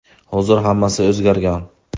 Hozir hammasi o‘zgargan.